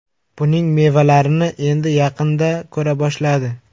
Buning mevalarini endi yaqinda ko‘ra boshladi.